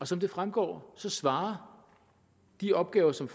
som det fremgår svarer de opgaver som